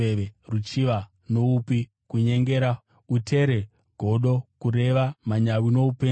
ruchiva, nouipi, kunyengera, utere, godo, kureva, manyawi noupenzi.